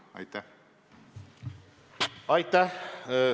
Aitäh!